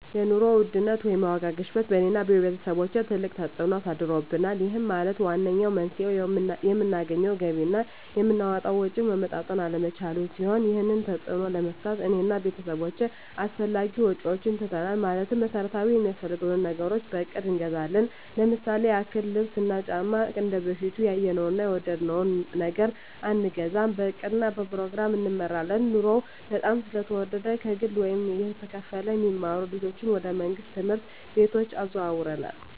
የኑሮ ውድነት ወይም የዋጋ ግሽበት በእኔ እና በቤተሰቦቸ ትልቅ ተፅእኖ አሳድሮብናል ይህም ማለት ዋነኛው መንስኤው የምናገኘው ገቢ እና የምናወጣው ወጪ መመጣጠን አለመቻሉን ሲሆን ይህንን ተፅዕኖ ለመግታት እኔ እና ቤተሰቦቸ አላስፈላጊ ወጪዎችን ትተናል ማለትም መሠረታዊ ሚያስፈልጉንን ነገሮች በእቅድ እንገዛለን ለምሳሌ ያክል ልብስ እና ጫማ እንደበፊቱ ያየነውን እና የወደድነውን ነገር አንገዛም በእቅድ እና በፕሮግራም እንመራለን ኑሮው በጣም ስለተወደደ ከግለ ወይም እየተከፈለ የሚማሩ ልጆችን ወደ መንግሥት ትምህርት ቤቶች አዘዋውረናል